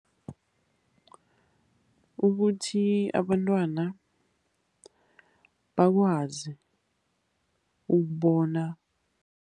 Ukuthi abantwana bakwazi ukubona.